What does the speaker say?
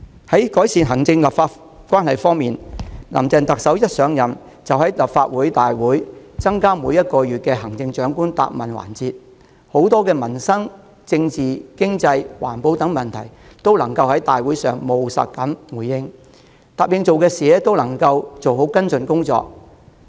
在改善行政立法關係方面，林鄭特首一上任即在立法會大會增設每月的行政長官質詢時間，就民生、政治、經濟、環保等眾多問題作出務實回應，並按照承諾做好跟進工作。